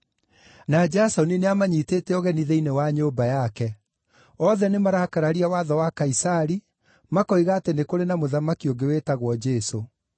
na Jasoni nĩamanyiitĩte ũgeni thĩinĩ wa nyũmba yake. Othe nĩmarakararia watho wa Kaisari, makoiga atĩ nĩ kũrĩ na mũthamaki ũngĩ wĩtagwo Jesũ.”